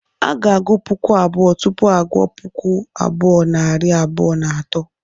A ga-agụ puku abụọ, tupu a gụ gụọ puku abụọ, nari abụọ na atọ